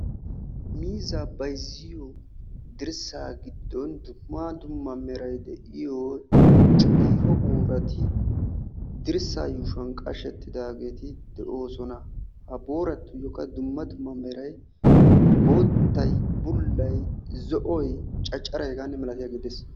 Miizzaa bayzziyoo dirssaa giddon dumma dumma meray de"iyo xiiho boorati dirssaa yuushuwan qashettidaageeti de'oosona. Ha booratuyyookka dumma dumma meray boottay, bullay, zo"oy, cacaray hegaanne milatiyaagee de'ees.